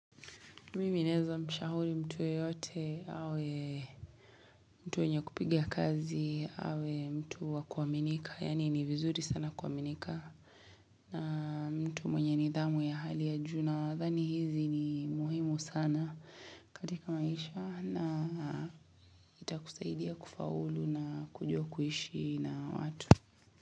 Mimi neeza mshauri mtu yoyote awe mtu mwenye kupigia kazi awe mtu wa kuaminika. Yani ni vizuri sana kuaminika. Na mtu mwenye nidhamu ya hali ya juu na. Dhani hizi ni muhimu sana katika maisha. Na itakusaidia kufaulu na kujua kuishi na watu.